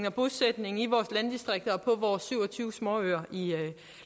og bosætningen i vores landdistrikter og på vores syv og tyve småøer